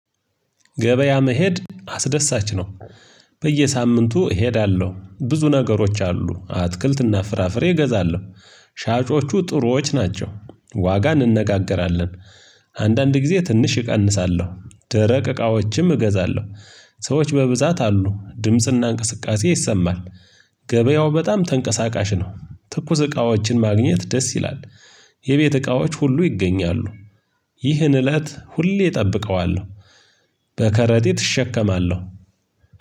ገበያ መሄድ አስደሳች ነው። በየሳምንቱ እሄዳለሁ ብዙ ነገሮች አሉ አትክልት እና ፍራፍሬ እገዛለሁ። ሻጮቹ ጥሩዎች ናቸው። ዋጋ እንነጋገራለን አንዳንድ ጊዜ ትንሽ እቀንሳለሁ ደረቅ እቃዎችም እገዛለሁ። ሰዎች በብዛት አሉ ድምጽ እና እንቅስቃሴ ይሰማል። ገበያው በጣም ተንቀሳቃሽ ነው ትኩስ እቃዎችን ማግኘት ደስ ይላል። የቤት እቃዎች ሁሉ ይገኛሉ። ይህን እለት ሁሌ እጠብቀዋለሁ። በከረጢት እሸከማለሁ።